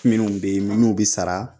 Minnu bɛ yen minnu bɛ sara